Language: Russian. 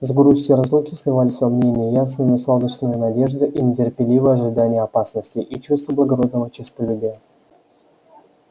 с грустию разлуки сливались во мне и неясные но сладостные надежды и нетерпеливое ожидание опасностей и чувства благородного честолюбия